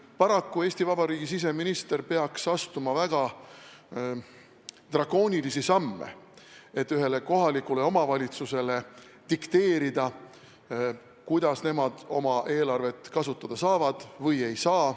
Paraku peaks Eesti Vabariigi siseminister astuma väga drakoonilisi samme, et ühele kohalikule omavalitsusele dikteerida, kuidas nemad oma eelarvet kasutada saavad.